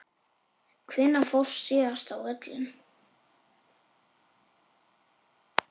Hvenær fórstu síðast á völlinn?